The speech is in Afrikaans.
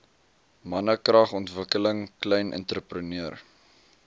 mannekragontwikkeling klein entrepreneur